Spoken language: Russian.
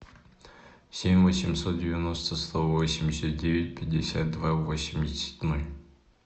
семь восемьсот девяносто сто восемьдесят девять пятьдесят два восемьдесят ноль